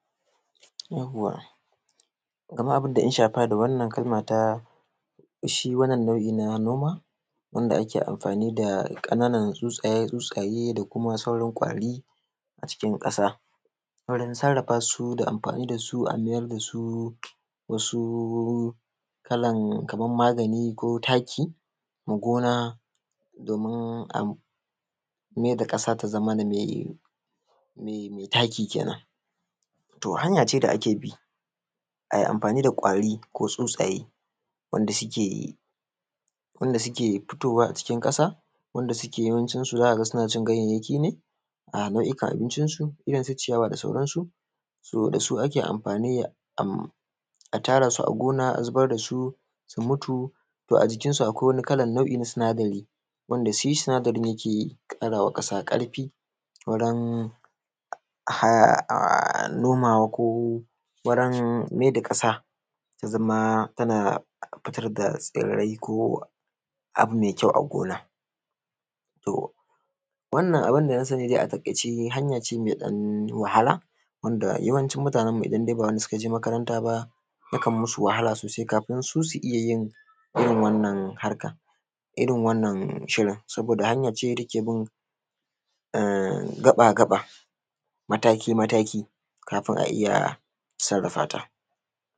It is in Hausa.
wanda suke futowa a cikin kasa wanda suke sucin ganyayyaki ne a nau’ikan abincin su irrin su ciyawa da sauran su to dasu ake amfani a tara su a gona a zubar dasu su mutu to ajikin su akwai wani kalan nau’i na sinadari wanda shi sinadarin yake karawa kasa karfi wurin nomawa ko wurin mai da kasa tazama tana fitar da tsirrai ko abu mai kyau a gona wannan abunda na sani dai a takaice hanya ce mai dan wahala yawancin mutanen mu idan dai ba wanda sukaje makaranta ba yakan danyi musu wahala sosai kafin su su iyya yin wannan harkan irrin wannan shirin saboda hanya ce da takebin gaba gaba mataki mataki kafin a iyya sarrafata